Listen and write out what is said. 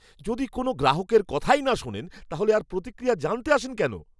যদি কোনও গ্রাহকের কথাই না শোনেন, তাহলে আর প্রতিক্রিয়া জানতে আসেন কেন?